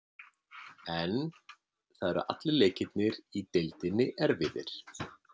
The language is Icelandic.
En það eru allir leikirnir í deildinni erfiðir.